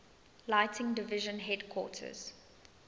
lighting division headquarters